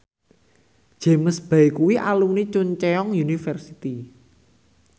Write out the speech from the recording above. James Bay kuwi alumni Chungceong University